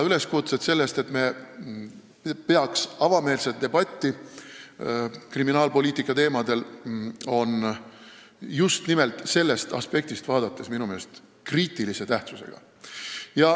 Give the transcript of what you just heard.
Üleskutsed, et me peaksime kriminaalpoliitika teemadel avameelselt debatti pidama, on just nimelt sellest aspektist vaadates minu meelest kriitilise tähtsusega.